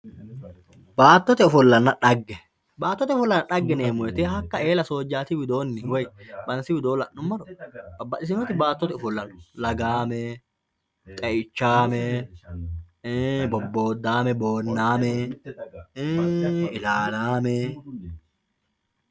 baatote ofollanna xagge baatote ofollanna xagge yineemo woyiite hakka eela sojaati widooni woye bansi widoo la'numoro babbadhitiyooti baatote ofolla no lagaame, xe"ichaame, bobbodaamee, bonnaamee, ilalaamee